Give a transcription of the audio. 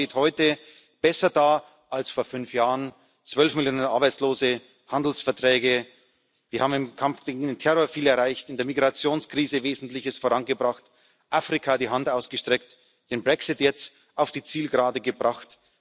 Europa steht heute besser da als vor fünf Jahren zwölf Millionen Arbeitslose, Handelsverträge, wir haben im Kampf gegen den Terror viel erreicht, in der Migrationskrise Wesentliches vorangebracht, Afrika die Hand ausgestreckt, den Brexit jetzt auf die Zielgerade gebracht.